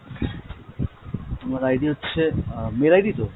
আমার ID হচ্ছে, আহ mail ID তো?